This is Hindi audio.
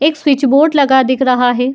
एक स्विच बोर्ड लगा दिख रहा है।